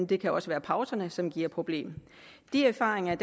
det kan også være pauserne som giver et problem de erfaringer